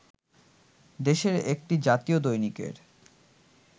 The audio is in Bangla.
দেশের একটি জাতীয় দৈনিকের